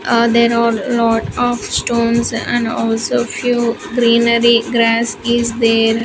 Ah there are lot of stones and also few greenery grass is there.